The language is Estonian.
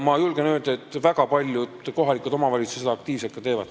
Ma julgen öelda, et väga paljud kohalikud omavalitsused seda ka aktiivselt teevad.